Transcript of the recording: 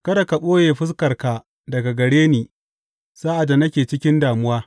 Kada ka ɓoye fuskarka daga gare ni sa’ad da nake cikin damuwa.